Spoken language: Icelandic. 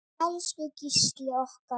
Elsku Gísli okkar.